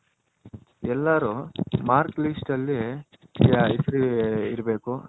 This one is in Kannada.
ಎಲ್ಲರೂ Marks List ಅಲ್ಲಿ ಹೇಸರು ಇರ್ಬೇಕು